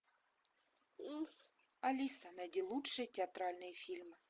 алиса найди лучшие театральные фильмы